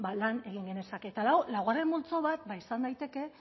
lan genezake eta lau laugarren multzo bat izan daiteke